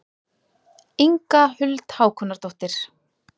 Inga Huld Hákonardóttir.